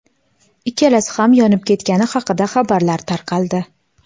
ikkalasi ham yonib ketgani haqida xabarlar tarqaldi.